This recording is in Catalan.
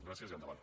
gràcies i endavant